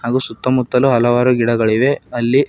ಹಾಗು ಸುತ್ತಮುತ್ತಲು ಹಲವಾರು ಗಿಡಗಳಿವೆ ಅಲ್ಲಿ --